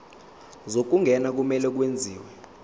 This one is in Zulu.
zokungena kumele kwenziwe